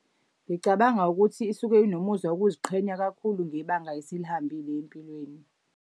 Ngicabanga ukuthi isuke inomuzwa wokuziqhenya kakhulu ngebanga esilihambile empilweni.